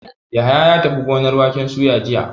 Yahaya ya tafi gonar waken soya jiya.